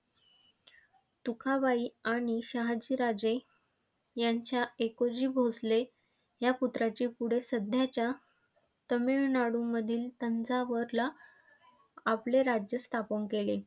तुकाबाई आणि शहाजी राजे यांच्या एकोजी भोसले ह्या पुत्राचे पुढे सध्याच्या तमिळनाडूमधील तंजावरला आपले राज्य स्थापन केले.